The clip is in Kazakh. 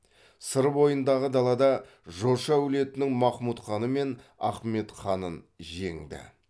сыр бойындағы далада жошы әулетінің махмұтханы мен ахметханын жеңді